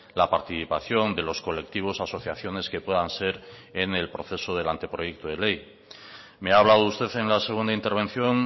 la participación de los colectivos asociaciones que puedan ser en el proceso del anteproyecto de ley me ha hablado usted en la segunda intervención